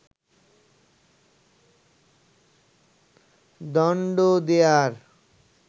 দণ্ড দেয়ার